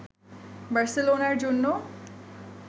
বার্সেলোনার জন্য